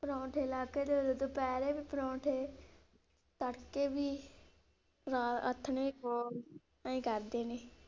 ਪਰੌਠੇ ਲਾਹ ਕੇ ਦੇਦੋ ਦੁਪਹਿਰੇ ਵੀ ਪਰੌਂਠੇ, ਤੜਕੇ ਵੀ, ਆਥਣੇ ਵੀ ਖਵਾਓ, ਆਈਂ ਕਰਦੇ ਨੇ।